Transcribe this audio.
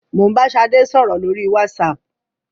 Mo ń bá Ṣadé sọ̀rọ̀ lórí WhatsApp.